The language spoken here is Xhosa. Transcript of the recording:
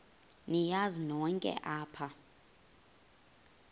niyazi nonk apha